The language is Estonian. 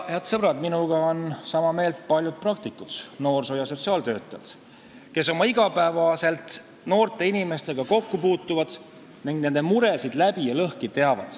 Head sõbrad, minuga on sama meelt paljud praktikud, noorsoo- ja sotsiaaltöötajad, kes iga päev noorte inimestega kokku puutuvad ning nende muresid läbi ja lõhki teavad.